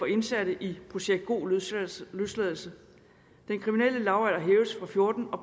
indsatte i projekt god løsladelse løsladelse den kriminelle lavalder hæves fra fjorten år